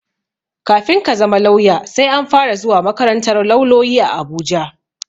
Kafin ka zama lauya, sai an fara zuwa makarantar lauloyi a Abuja.